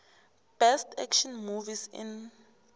best action movies in